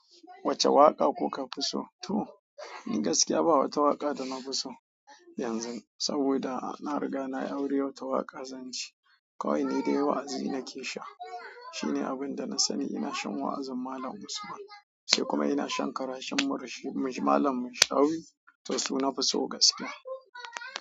Wacce waƙa kuka fi so? To in gaskiya ba wata waƙa da na fi so yanzu saboda ina riga na auri wata waƙa zance. Kawai ni dai wa'azi nake sha. Toni abinda na sani ina shan wa'azin Malam Usman sai kuma ina shan karashen Malam Shuaib. To su na fi so gaskiya.